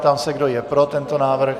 Ptám se, kdo je pro tento návrh.